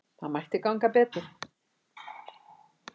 Það mætti ganga betur.